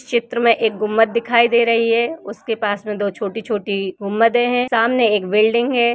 चित्र में एक गुमद दिखाई दे रही है उसके पास में दो छोटी-छोटी गुमदे है। सामने एक बिल्डिंग हे ।